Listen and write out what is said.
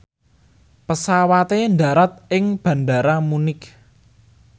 pesawate ndharat ing Bandara Munich